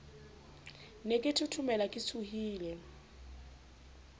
ne ke thothomela ke tshohile